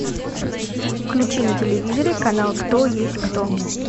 включи на телевизоре канал кто есть кто